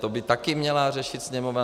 To by taky měla řešit Sněmovna?